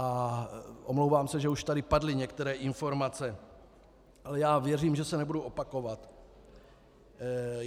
A omlouvám se, že už tady padly některé informace, ale já věřím, že se nebudu opakovat.